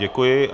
Děkuji.